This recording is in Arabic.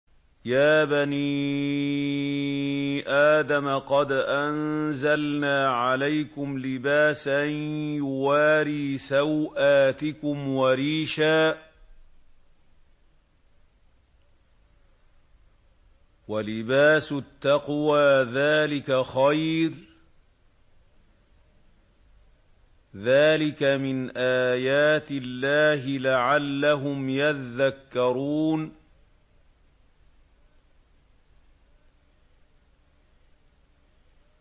يَا بَنِي آدَمَ قَدْ أَنزَلْنَا عَلَيْكُمْ لِبَاسًا يُوَارِي سَوْآتِكُمْ وَرِيشًا ۖ وَلِبَاسُ التَّقْوَىٰ ذَٰلِكَ خَيْرٌ ۚ ذَٰلِكَ مِنْ آيَاتِ اللَّهِ لَعَلَّهُمْ يَذَّكَّرُونَ